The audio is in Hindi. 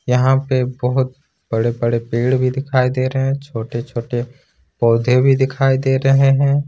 यहां पे बहोत बड़े-बड़े पेड़ भी दिखाई दे रहे हैं छोटे-छोटे पौधे भी दिखाई दे रहे हैं।